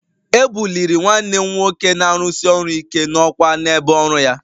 E buliri nwanne m nwoke na-arụsi ọrụ ike n'ọkwá n'ebe ọrụ ya